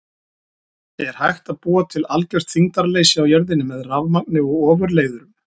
Er hægt að búa til algjört þyngdarleysi á jörðinni með rafmagni og ofurleiðurum?